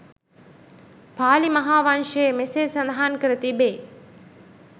පාලි මහාවංශයේ මෙසේ සඳහන් කර තිබේ.